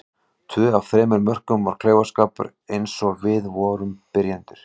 Tvö af þremur mörkum var klaufaskapur eins og við vorum byrjendur.